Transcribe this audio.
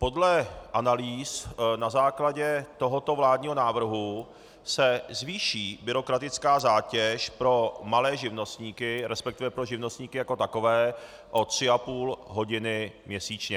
Podle analýz na základě tohoto vládního návrhu se zvýší byrokratická zátěž pro malé živnostníky, respektive pro živnostníky jako takové, o tři a půl hodiny měsíčně.